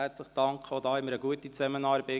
Auch mit ihr hatten wir eine gute Zusammenarbeit.